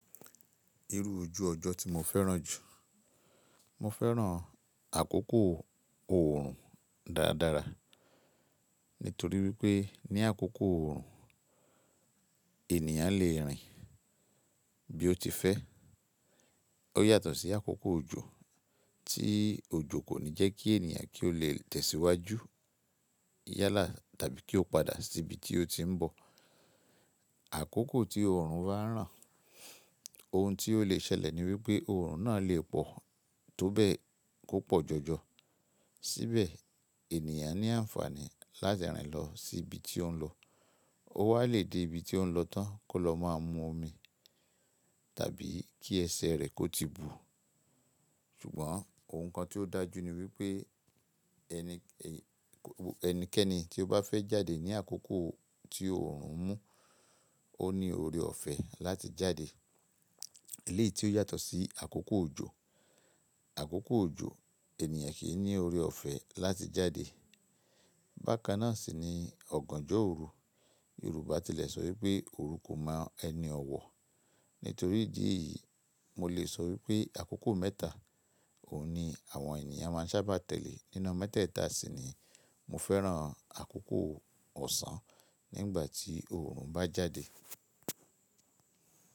Irú ojú ọjọ́ tí mo fẹ́ràn jù, mo fẹ́ràn àkókò oòrùn dáradára. Nítorí wípé ní àkókò oòrùn ènìyàn lè rìn bí ó ti fẹ́. Ó yàtọ̀ sí àkókò òjò, tí òjò kò ní jẹ́ kí ènìyàn kí ó lè tẹ̀síwájú yálà tàbí kí ó padà sí ibi tí ó ti ń bọ̀. Àkókò tí oòrùn bá ń ràn, ohun tí ó lè ṣẹlẹ̀ ni wípé oòrùn náà lè pọ̀ tó bẹ́ẹ̀ kó pọ̀ jọjọ. Síbẹ̀ ènìyàn ní àǹfààní láti rìn lọ sí ibi tí ó ń lọ. Ó wá lè dé ibi tí ó ń lọ tán kó lọ máa mú omi tàbí kí ẹsẹ̀ rẹ̀ kó ti bù. Ṣùgbọ́n ohun kan tí ó dájú ni wípé ẹni, ẹnikẹ́ni tí ó bá fẹ́ jáde ní àkókò tí oòrùn ń mú, ó ní ọrẹ ọ̀fẹ́ láti jáde. Eléyìí tí ó yàtọ̀ sí àkókò òjò. Àkókò òjò ènìyàn kì í ní ọrẹ ọ̀fẹ́ láti jáde. Bákan náà sì ni ọ̀gànjọ́ òrò. Yorùbá tilẹ̀ sọ wípé “òru kò máa ẹni ọ̀wọ̀”. Nítorí ìdí yìí mo lè sọ wípé àkókò mẹ́ta òun ni àwọn ènìyàn máa ń sábà tẹ̀lé. Nínú mẹ́tẹ̀ẹ̀ta sì ni mo fẹ́ràn àkókò ọ̀sán nígbà tí oòrùn bá jáde.